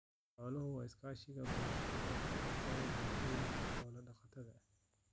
Xooluhu waa isha iskaashiga bulsho ee ka dhexeeya bulshooyinka xoolo-dhaqatada ah.